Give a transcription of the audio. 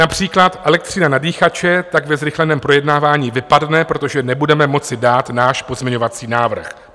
Například elektřina na dýchače tak ve zrychleném projednávání vypadne, protože nebudeme moci dát náš pozměňovací návrh.